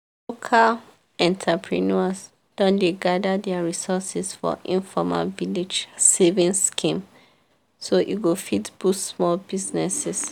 local entrepreneurs don dey gather their resources for informal village savings schemes so e go fit boost small businesses.